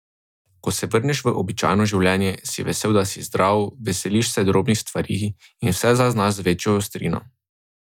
Ko se vrneš v običajno življenje, si vesel, da si zdrav, veseliš se drobnih stvari in vse zaznavaš z večjo ostrino.